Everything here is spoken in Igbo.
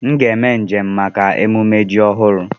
M ga eme njem maka ememme ji ọhụrụ.